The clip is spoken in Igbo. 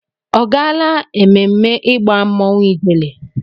Ọ gaala ememme ịgba mmọnwụ ijele?